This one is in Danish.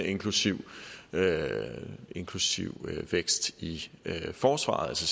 inklusive inklusive vækst i forsvaret så